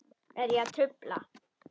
Er ég að trufla?